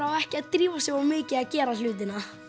á ekki að drífa sig of mikið að gera hlutina